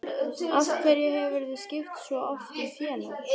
Af hverju hefurðu skipt svo oft um félag?